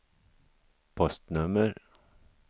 postnummer